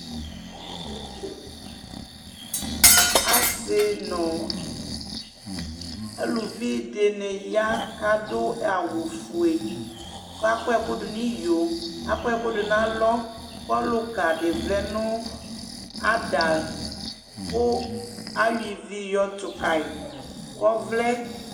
Asi nʋ aluvi dɩnɩ ya, kʋ adu awufue, kʋ akɔ ɛkʋdʋ nʋ iyo, akɔ ɛkʋdʋ nʋ alɔ Kʋ ɔlʋka dɩ vlɛ nʋ ada, kʋ ayɔ ivi yɔtʋ kayi, kʋ ɔvlɛ